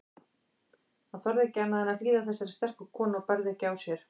Hann þorði ekki annað en hlýða þessari sterku konu og bærði ekki á sér.